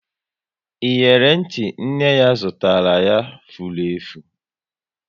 Iyeri ntị nne ya zụtara ya, furu efu